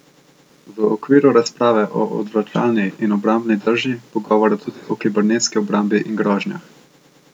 V okviru razprave o odvračalni in obrambni drži bo govora tudi o kibernetski obrambi in grožnjah.